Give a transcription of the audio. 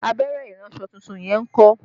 Abẹ́rẹ́ iransọ tuntun yẹn ń kọ́?